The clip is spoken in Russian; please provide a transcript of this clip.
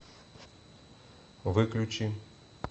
выключи